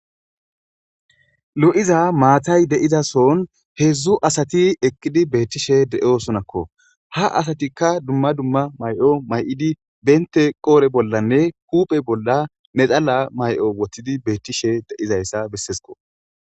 lo7iza maatay de'iza sohon heedzdzu asati eqqidi beettishe de7osonakko .ha asatikka dumma dumma mayi'o mayi'idi bente qodhdhe bollanne huphphe bolla nexalla mayo woththidi beettishe de7izayssa bessessikko.